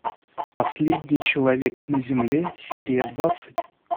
последний человек на земле серия двадцать